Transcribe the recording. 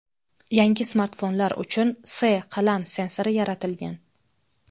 Yangi smartfonlar uchun S qalam sensori yaratilgan.